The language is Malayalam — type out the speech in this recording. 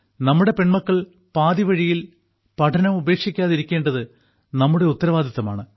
നമ്മുടെ പെൺമക്കൾ പാതിവഴിയിൽ പഠനം ഉപേക്ഷിക്കാതിരിക്കേണ്ടത് നമ്മുടെ ഉത്തരവാദിത്തമാണ്